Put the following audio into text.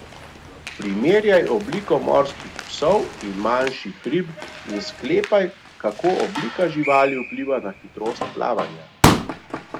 Primerjaj obliko morskih psov in manjših rib in sklepaj, kako oblika živali vpliva na hitrost plavanja.